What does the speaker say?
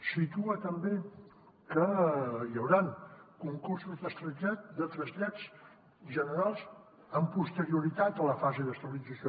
situa també que hi hauran concursos de trasllats generals amb posterioritat a la fase d’estabilització